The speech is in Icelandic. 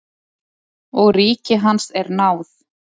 Og ríki hans er náð.